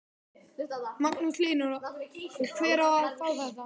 Magnús Hlynur: Og hver á að fá þetta?